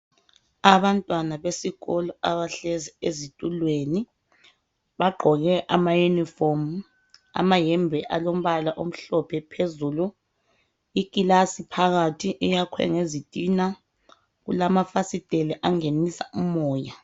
Abantwana besikolo abahlezi ezitulweni . Bagqoke ama uniform amayembe alombala omhlophe phezulu. Ikilasi phakathi iyakhwe ngezitina kulamafasiteli angenisa umoya